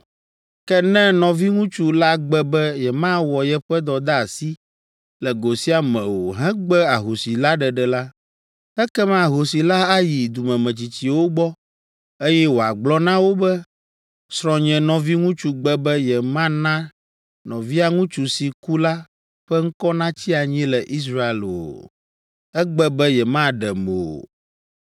Ke ne nɔviŋutsu la gbe be yemawɔ yeƒe dɔdeasi le go sia me o hegbe ahosi la ɖeɖe la, ekema ahosi la ayi dumemetsitsiwo gbɔ, eye wòagblɔ na wo be, ‘Srɔ̃nye nɔviŋutsu gbe be yemana nɔvia ŋutsu si ku la ƒe ŋkɔ natsi anyi le Israel o. Egbe be yemaɖem o.’